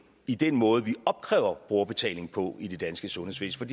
i den måde vi opkræver brugerbetaling på i det danske sundhedsvæsen